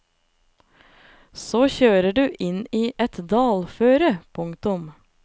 Så kjører du inn i et dalføre. punktum